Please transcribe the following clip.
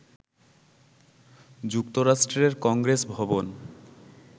যুক্তরাষ্ট্রের কংগ্রেস ভবন